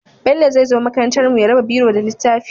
Bello zai zo makarantar mu ya raba biro da littafi